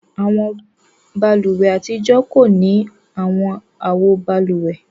Awọn bálùwẹ̀ atijọ ko ni awọn awo bálúwẹ̀.